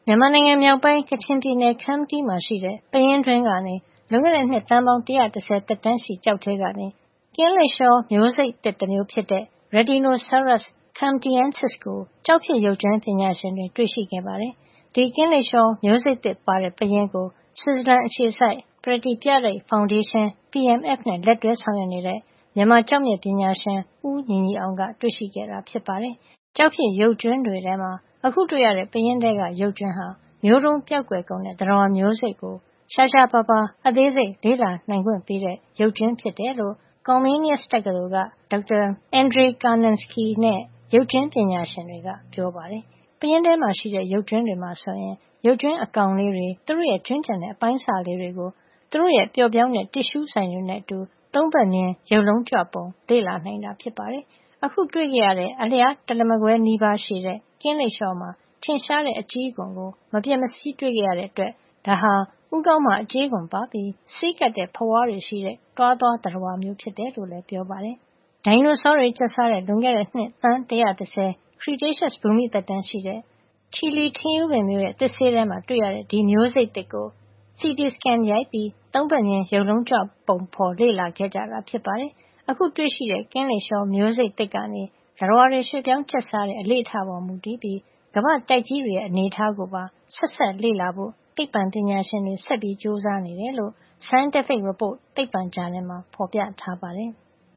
မြန်မာနိုင်ငံမြောက်ပိုင်း ကချင်ပြည်နယ် ခန္တီးမှာရှိတဲ့ ပယင်းတွင်းကနေ လွန်ခဲ့တဲ့နှစ် သန်းပေါင်း ၁၁၀ သက်တမ်းရှိကျောက်ထဲကနေ ကင်းလိပ်ချော မျိုးစိတ်သစ်တမျိုးဖြစ်တဲ့ Retinosaurus hkamtiensis ကို ကျောက်ဖြစ်ရုပ်ကြွင်းပညာရှင်တွေ တွေ့ရှိခဲ့ပါတယ်။ ဒီကင်းလိပ်ချောမျိုးစိတ်သစ်ပါတဲ့ ပယင်းကို ဆွစ်ဇလန် အခြေစိုက် Peretti ပြတိုက်ဖေါင်ဒေးရှင်း PMF နဲ့လက်တွဲဆောင်ရွက်နေတဲ့ မြန်မာကျောက်မျက်ပညာရှင ် ဦးညီညီအောင်က တွေ့ရှိခဲ့တာ ဖြစ်ပါတယ်။ ကျောက်ဖြစ်ရုပ်ကြွင်းတွေထဲမှာ အခုတွေ့ရတဲ့ ပယင်းထဲက ရုပ်ကြွင်းဟာ မျိုးတုန်းကွယ်ပျောက်ကုန်တဲ့ သတ္တဝါမျိုးစိတ်ကို ရှားရှားပါးပါး အသေးစိတ်လေ့လာနိုင် ခွင့်ပေးတဲ့ ရုပ်ကြွင်းဖြစ်ကြောင်း Comenius တက္ကသိုလ်က ဒေါက်တာ Andrej Čerňanský နဲ့ရုပ်ကြွင်းပညာရှင်တွေက ပြောပါတယ်။ ရုပ်ကြွင်းတွေထဲမှာ ပယင်းထဲက ရုပ်ကြွင်း အကောင်လေးတွေ၊ သူတို့ရဲ့ ကြွင်းကျန်တဲ့ အပိုင်းအစလေးတွေကိုတော့ သူတို့ရဲ့ ပျော့ပြောင်းတဲ့ တစ်ရှုးစိုင်တွေနဲ့အတူ ၃ ဖက်မြင် ရုပ်လုံးကြွပုံ လေ့လာ နိုင်တာ ဖြစ်ပါတယ်။ အခုတွေ့ခဲ့ရတဲ့ အလျား ၁ လက်မခွဲနီးပါး (၁.၄ လက်မ) ရှည်တဲ့ ကင်းလိပ်လျောမှာ ထင်ရှားတဲ့ အကြေးခွံကိုပါ မပျက်မစီးတွေ့ခဲ့ရတဲ့ အတွက် ဒါဟာ ဦးခေါင်းမှာအကြေးခွံပါပြီး စေးကပ်တဲ့ ဖဝါးတွေရှိတဲ့ တွားသွားသတ္တဝါမျိုး ဖြစ်တယ်လို့လည်းပြောပါတယ်။ ဒိုင်နိုဆောတွေကျက်စားတဲ့ လွန်ခဲ့တဲ့ နှစ် သန်း ၁၁၀ - Cretaceous ဘူမိသက်တမ်းရှိတဲ့ ချီလီ ထင်းရှုးပင်မျိုး Auaucarian ရဲ့ သစ်စေးထဲမှာ တွေ့ခဲ့ရတဲ့ ဒီမျိုးစိတ်သစ်ကို CT scan ရိုက်ပြီး သုံးဖက်မြင် ရုပ်လုံးကြွပုံဖေါ် လေ့လာခဲ့ကြတာ ဖြစ်ပါတယ်။ အခု တွေ့ရှိတဲ့ ကင်းလိပ်ချောမျိုးစိတ်သစ်ကနေ သတ္တဝါတွေ ရွှေ့ပြောင်းကျက်စားတဲ့ အလေ့ထပေါ်မူတည်ပြီး ကမ္ဘာ့တိုက်ကြီးတွေရဲ့ အနေထားကိုပါ ဆက်စပ်လေ့လာဖို့ သိပ္ပံပညာရှင်တွေ ဆက်လက်ကြိုးစားနေကြောင်း Scientific Report သိပ္ပံဂျာနယ်မှာ ဖေါ်ပြထားပါတယ်။